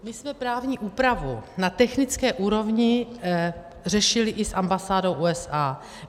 My jsme právní úpravu na technické úrovni řešili i s ambasádou USA.